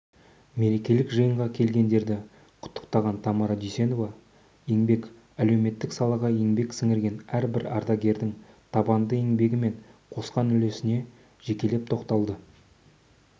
мерекелік жиынға келгендерді құттықтаған тамара дүйсенова еңбек-әлеуметтік салаға еңбек сіңірген әрбір ардагердің табанды еңбегі мен қосқан үлесіне жекелеп тоқталды